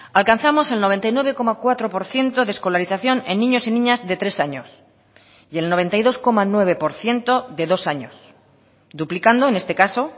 alcanzamos el noventa y nueve coma cuatro por ciento de escolarización en niños y niñas de tres años y el noventa y dos coma nueve por ciento de dos años duplicando en este caso